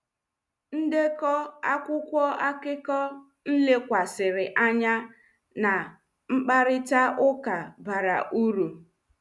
Ndeko akwụkwọ akụkọ m lekwasịrị anya na mkparịta ụka bara uru.